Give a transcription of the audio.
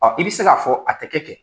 i be se k'a fɔ a tɛ kɛ kɛ.